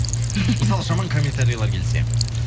мысалы жаман комментариялар келсе